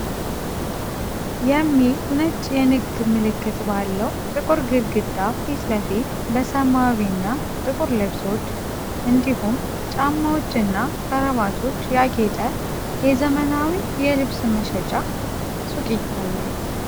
"Ambassador" የሚል ነጭ የንግድ ምልክት ባለው ጥቁር ግድግዳ ፊት ለፊት፣ በሰማያዊ እና ጥቁር ልብሶች፣ እንዲሁም ጫማዎች እና ክራቫቶች ያጌጠ የዘመናዊ የልብስ መሸጫ ሱቅ ይታያል።